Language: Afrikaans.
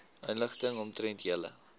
inligting omtrent julle